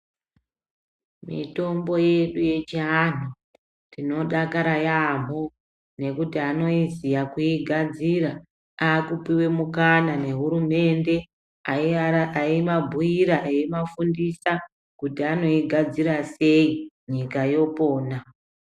Mitombo yedu yechianhu tinodakara yasmho, nekuti anoiziya kuigadzira, aakupiwe mukana nehurumende, aiara eimabhuira eimafundisa, kuti anoigadzira sei, nyika yopona.